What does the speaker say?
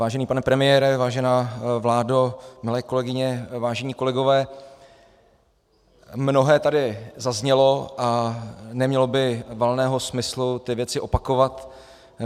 Vážený pane premiére, vážená vládo, milé kolegyně, vážení kolegové, mnohé tady zaznělo a nemělo by valného smyslu ty věci opakovat.